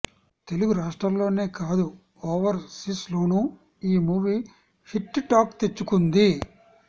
తెలుగు రాష్ట్రాల్లోనే కాదు overseas లోనూ ఈ మూవీ హిట్ టాక్ తెచ్చుకుంది